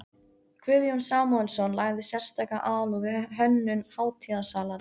Guðjón Samúelsson lagði sérstaka alúð við hönnun hátíðarsalarins.